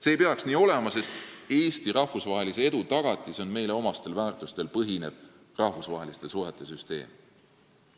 See ei peaks nii olema, sest Eesti rahvusvahelise edu tagatis on meile omastel väärtustel põhinev rahvusvaheliste suhete süsteem.